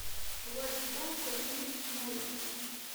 владислав сергеевич новиков